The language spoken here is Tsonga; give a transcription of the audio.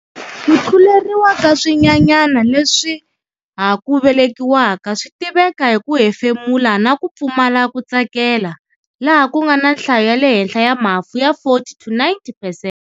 Ku tluleriwa ka swinyanyana leswi ha ku velekiwaka swi tiveka hi ku hefemula na ku pfumala ku tsakela laha ku nga na nhlayo ya le henhla ya mafu ya 40-90 percent.